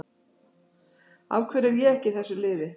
Af hverju er ég ekki í þessu liði?